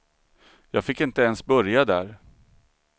Jag fick inte ens börja där.